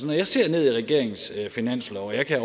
jeg ser ned i regeringens finanslov og jeg kan